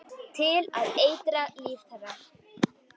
Til að eitra líf þeirra.